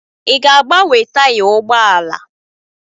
Ị ga-agbanwe taya ụgbọ ala?